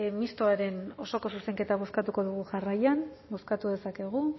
mistoaren osoko zuzenketa bozkatuko dugu jarraian bozkatu dezakegu